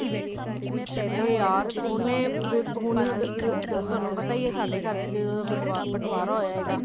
ਏ ਯਾਰ ਉਹਨੇ ਹੁਣ ਤੁਹਾਨੂੰ ਪਤਾ ਹੀ ਹੈ ਸਾਡੇ ਘਰ ਚ ਜਦੋਂ ਬਟਵਾਰਾ ਹੋਇਆ ਹੋਵੇਗਾ